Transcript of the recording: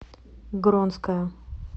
гронская